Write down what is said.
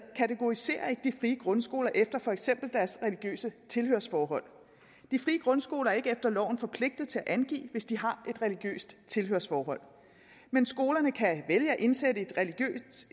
kategoriserer de frie grundskoler efter for eksempel deres religiøse tilhørsforhold de frie grundskoler er ikke efter loven forpligtet til at angive hvis de har et religiøst tilhørsforhold men skolerne kan vælge at indsætte